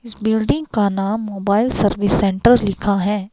इस बिल्डिंग का नाम मोबाइल सर्विस सेंटर लिखा है।